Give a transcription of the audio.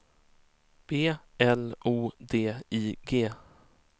B L O D I G